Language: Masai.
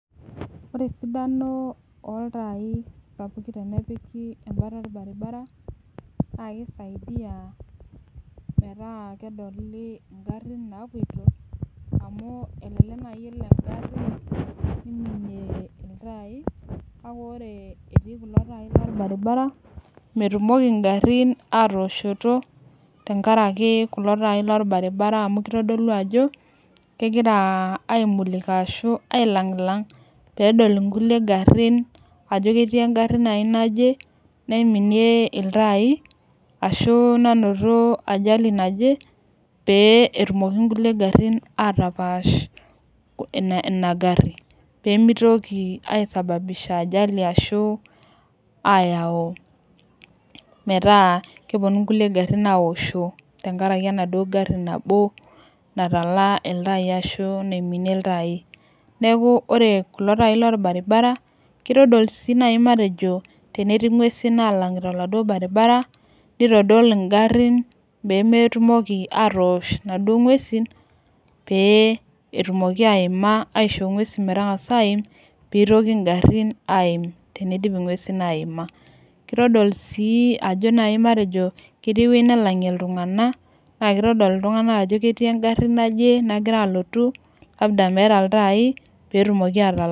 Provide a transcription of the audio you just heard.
ore esidano oltai sapukin, tenepiki olbaribara ,na kisaidia meeta kedoli ingarin napoito, amu eleelek naji elo engari neimienie iltai kake ore eti kulo tai lobaribara metumoki ingarin atoshoto, tengaraki kulo tai lobaribara amu kitodolu ajo, kengira aimulika ashu ailangilang, pee edol inkulie garin ajo keti engari naji naje naiminie iltai, ashu nanoto ajali naje, pee etumoki inkulie garin atapash ina gari, pee mitoki aisababisha ajali ashu ayau, meeta keponu inkulie garin aosho, tenkaraki enaduo gari nabo, natala iltai ashu naiminie iltai, niaku ore kule tai lobaribara kitol si nai matejo tenetii ingwesin nalangita oladuo baribara, neitodol ingarin pee metumoki atosh inaduo inaduo ngwesin pee etumoki aima, aisho ingwesin metangasa aim peitoki ingarin aim, tenidip ingwesin aima, kitodol ajo si nai matejo tenetii eweuji nalangi iltunganak na kitodol iltunganak ajo ketii engari naje nagira alotu, labda meeta iltai, petumoki atalang.